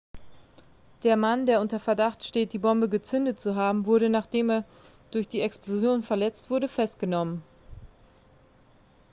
der mann der unter verdacht steht die bombe gezündet zu haben wurde nachdem er durch die explosion verletzt wurde festgenommen